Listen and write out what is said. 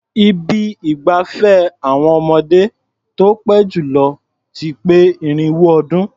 Ibi ìgbafẹ́ àwọn ọmọdé tó pé jù lọ ti pé irinwó ọdún.